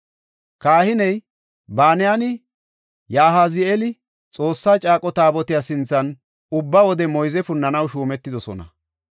Kahiney Banayinne Yahazi7eeli Xoossa caaqo Taabotiya sinthan ubba wode moyze punnanaw shuumetidosona.